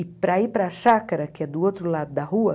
E para ir para Chácara, que é do outro lado da rua,